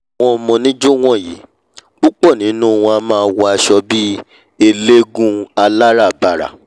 àwọn ọmọ oníjó wọ̀nyí púpọ̀ nínú wọn a máa wọ aṣọ bí eléégún aláràbarà